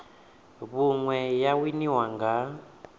vhui ine ya winiwa nga